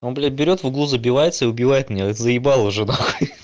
он блядь берёт в углу забивается и убивает меня заебал уже нахуй ха-ха